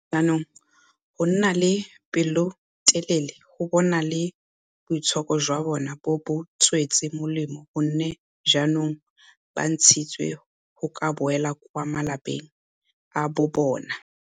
Jaanong go nna le pelotelele ga bona le boitshoko jwa bona bo ba tswetse molemo go nne jaanong ba ntshitswe go ka boela kwa malapeng a bobona.